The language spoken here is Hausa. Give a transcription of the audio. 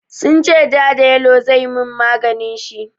Sun ce ja da yalo zai yi min maganin shi.